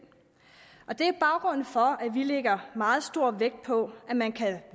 det er baggrunden for at vi lægger meget stor vægt på at man kan